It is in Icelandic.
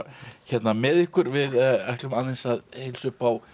hérna með ykkur við ætlum aðeins að heilsa upp á